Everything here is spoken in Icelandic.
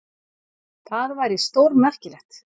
Það væri stórmerkilegt.